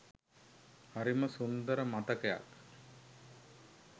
හරිම සුන්දර මතකයක්